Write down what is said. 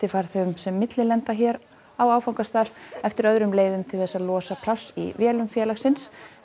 skiptifarþegum sem millilenda hér á áfangastað eftir öðrum leiðum til þess að losa pláss í vélum félagsins